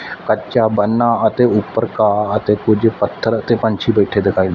ਕੱਚਾ ਬੰਨਾ ਅਤੇ ਊਪਰ ਘਾਹ ਅਤੇ ਕੁਝ ਪੱਥਰ ਤੇ ਪੰਛੀ ਬੈਠੇ ਦਿਖਾਈ--